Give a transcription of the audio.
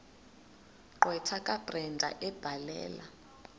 gqwetha kabrenda ebhalela